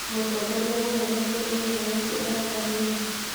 Mũtongoria mũnene nĩ eheretio wathani-inĩ?